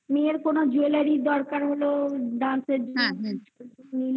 মেয়ের কোনো jewellery দরকার হলো dance এর জন্য হ্যাঁ